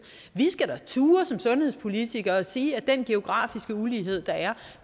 vi skal da turde som sundhedspolitikere at sige at den geografiske ulighed der er